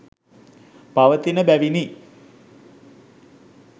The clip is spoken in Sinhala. පවතින බැවිනි